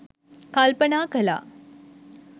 කල්පනා කළා.